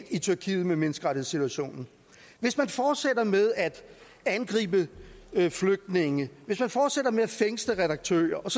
i tyrkiet med menneskerettighedssituationen hvis man fortsætter med at angribe flygtninge hvis man fortsætter med at fængsle redaktører og